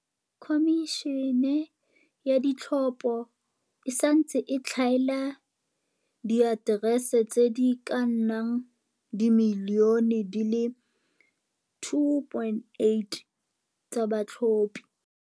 Khomišene ya Ditlhopho e santse e tlhaela diaterese tse di ka nnang dimilione di le 2.8 tsa batlhophi.